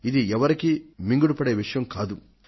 ఇది ఎవరికీ మింగుడుపడే విషయం కాదు